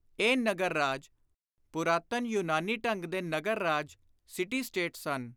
ਇਹ ਨਗਰ ਰਾਜ ਪੁਰਾਤਨ ਯੁਨਾਨੀ ਢੰਗ ਦੇ ਨਗਰ ਰਾਜ (City States) ਸਨ।